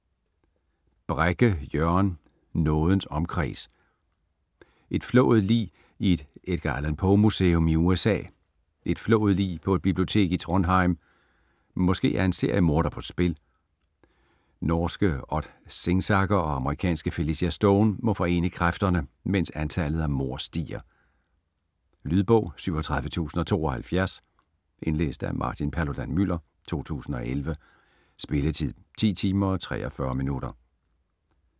Brekke, Jørgen: Nådens omkreds Et flået lig i et Edgar Allan Poe-museum i USA. Et flået lig på et bibliotek i Trondheim. Måske er en seriemorder på spil? Norske Odd Singsaker og amerikanske Felicia Stone må forene kræfterne, mens antallet af mord stiger. Lydbog 37072 Indlæst af Martin Paludan-Müller, 2011. Spilletid: 10 timer, 43 minutter.